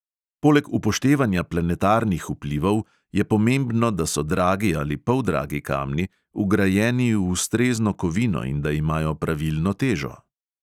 Poleg upoštevanja planetarnih vplivov je pomembno, da so dragi ali poldragi kamni vgrajeni v ustrezno kovino in da imajo pravilno težo.